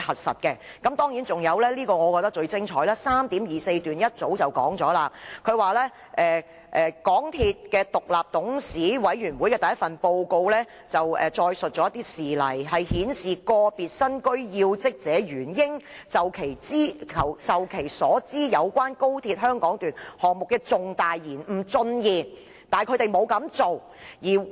我覺得最精彩的是，第 3.24 段早已說出："港鐵公司獨立董事委員會的第一份報告載述事例，顯示個別身居要職者原應就其所知有關高鐵香港段項目的重大延誤進言，但他們沒有這樣做。